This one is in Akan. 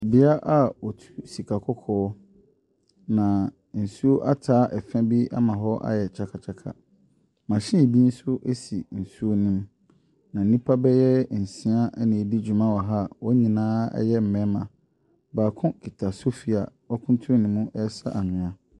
Beaeɛ a wɔtu sikakɔkɔɔ, na nsuo ataa fa bi ama ɛhɔ ayɛ kyakakyaka. Machine bi nso si nuo no mu, na nnipa bɛya nsia na wɔredi dwuma wɔ ha a wɔn nyinaa yɛ mmarima. Baako kita sofi a wakuntunu ne mu resa anwea.